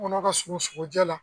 Tɔnkɔnɔ ka surun sogojɛ la